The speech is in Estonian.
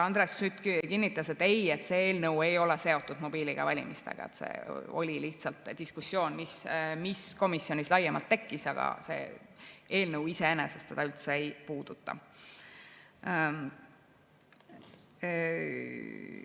Andres Sutt kinnitas, et ei, see eelnõu ei ole seotud mobiiliga valimistega, see oli lihtsalt diskussioon, mis komisjonis laiemalt tekkis, aga see eelnõu iseenesest seda üldse ei puuduta.